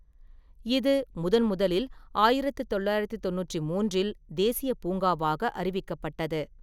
இது முதன்முதலில் ஆயிரத்து தொள்ளாயிரத்து தொண்ணூற்று மூன்றில் தேசியப் பூங்காவாக அறிவிக்கப்பட்டது.